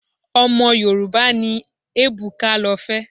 Ọmọ Yorùbá ni Ebuka lọ fẹ́.